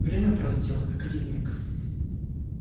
время пролетело как один миг